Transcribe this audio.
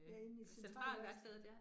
Ja, inde i Centralværkstedet